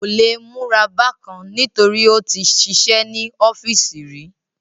Kò le múra bákan nítorí ó tí sisẹ́ ní ọ́fìsì rí